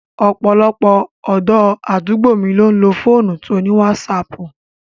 Ọ̀pọ̀lọpọ̀ ọ̀dọ́ àdúgbò mi ló ń lo fóònù to ní wásaaàpù